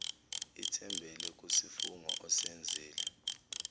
ithembele kusifungo osenzile